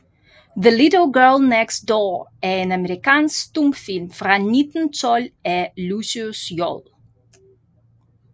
The Little Girl Next Door er en amerikansk stumfilm fra 1912 af Lucius J